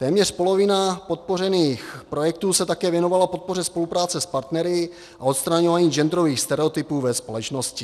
Téměř polovina podpořených projektů se také věnovala podpoře spolupráce s partnery a odstraňování genderových stereotypů ve společnosti.